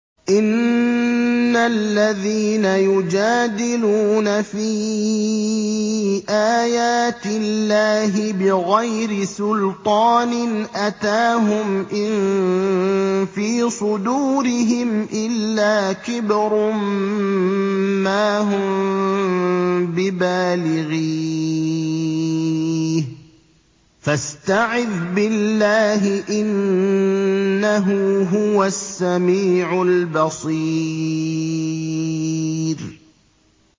إِنَّ الَّذِينَ يُجَادِلُونَ فِي آيَاتِ اللَّهِ بِغَيْرِ سُلْطَانٍ أَتَاهُمْ ۙ إِن فِي صُدُورِهِمْ إِلَّا كِبْرٌ مَّا هُم بِبَالِغِيهِ ۚ فَاسْتَعِذْ بِاللَّهِ ۖ إِنَّهُ هُوَ السَّمِيعُ الْبَصِيرُ